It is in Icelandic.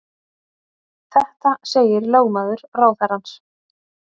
Þetta segir lögmaður ráðherrans